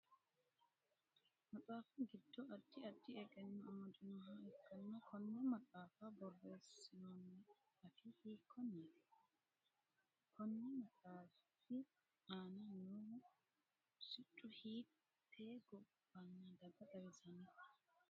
Maxaafu gido addi addi egeno amadinoha ikanna konne maxaafa boreesinoonni afii hiikoneeti? Konni maxaafi aanna noohu siccu hiitee gobanna daga xawisano?